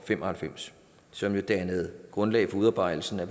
fem og halvfems som dannede grundlag for udarbejdelsen af